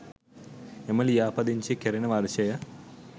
එම ලියාපදිංචිය කෙරෙන වර්ෂය